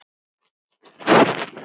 Nú eða vini.